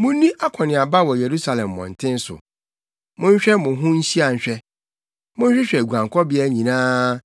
“Munni akɔneaba wɔ Yerusalem mmɔnten so, monhwɛ mo ho nhyia nhwɛ, monhwehwɛ guabɔbea nyinaa.